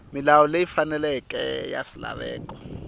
milawu leyi faneleke ya swilaveko